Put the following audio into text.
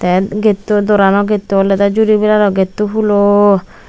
the gate u doorano gate u olode juri brelalloi gate o hulo.